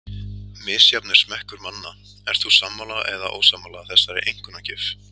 Misjafn er smekkur manna, Ert þú sammála eða ósammála þessari einkunnagjöf?